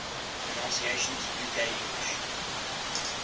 pronunciations uk english